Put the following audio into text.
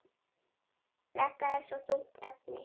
Þetta er svo þungt efni.